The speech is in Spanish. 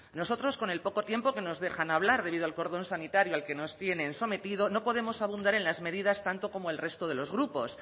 nosotros con el poco tiempo que nos dejan hablar debido al cordón sanitario al que nos tienen sometido no podemos abundar en las medidas tanto como el resto de los grupos